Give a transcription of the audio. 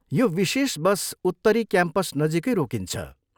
यो विशेष बस उत्तरी क्याम्पस नजिकै रोकिन्छ।